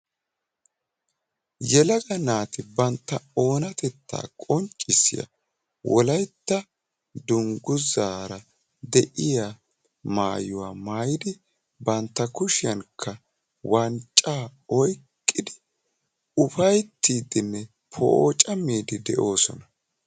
Yelaga naati bantta oonatettaa qonccisiyaa wolaytta dungguzaara de'iyaa maayuwaa maayidi bantta kushiyaanikka wanccaa oyqqidi ufayttiidinne poocammiidi de'oosona.